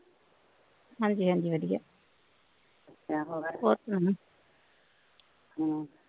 ਹਾਂਜੀ ਹਾਂਜੀ ਵਧੀਆ